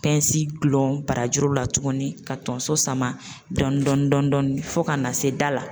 Pɛnsi gulon barajuru la tugunni ka tonso sama dɔɔni dɔɔni fo ka na se da la.